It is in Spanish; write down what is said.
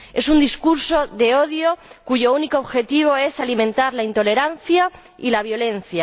Es un discurso de odio, cuyo único objetivo es alimentar la intolerancia y la violencia.